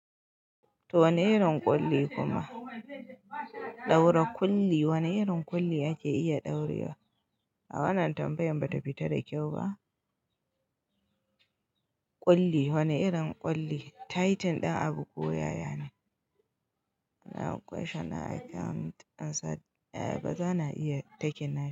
To wane irin ƙulli kuma? Ɗaura ƙulli, wane irin ƙulli ake iya dauriwa? A wannan tambayan ba ta fita da kyau ba. Ƙulli, wane irin ƙulli? Taitin ɗin abu ko yaya ne? A'a question I can't answer. A'a ba za na iya taken nan.